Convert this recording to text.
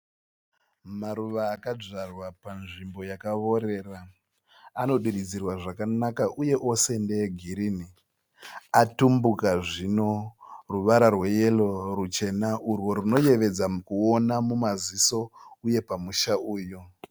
Maruva akadzvarwa panzvimbo yakaorera. Anodiridzirwa zvakanaka uye ose ndeegirinhi. Atumbuka zvino ruvara rweyero, ruchena urwo rwunoyevedza mukuoona mumazizo uye pamusha uyu.